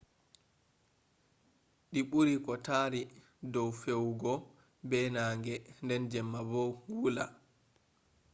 di buri ko tari dow fewugo be nange nden jamma bo wula